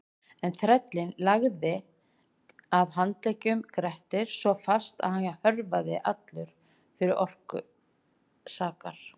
En þrællinn lagði að handleggjum Grettis svo fast að hann hörfaði allur fyrir orku sakar.